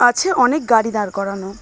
আছে অনেক গাড়ি দাঁড় করানো।